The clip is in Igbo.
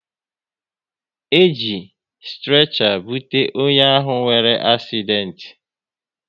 E ji strecha bute onye ahụ nwere asident